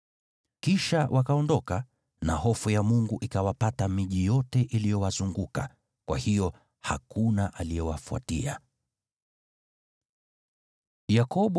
Kisha wakaondoka, na hofu ya Mungu ikawapata miji yote iliyowazunguka. Kwa hiyo hakuna aliyewafuatia wana wa Yakobo.